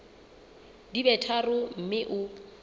di be tharo mme o